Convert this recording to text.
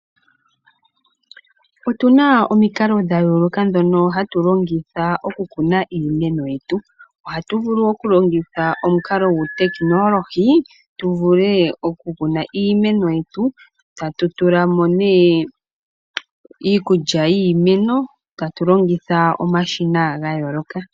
Otuna omikalo dha yooloka ndhono hatu longitha okukuna iimeno yetu. Ohatu vulu okulongitha omukalo gwuutekinolohi tuvule okukuna iimeno yetu tatu tulamo nee iikulya yiimeno tatu longitha omashina ga yooloka